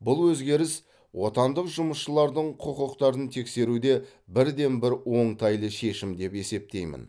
бұл өзгеріс отандық жұмысшылардың құқықтарын теңестіруде бірден бір оңтайлы шешім деп есептеймін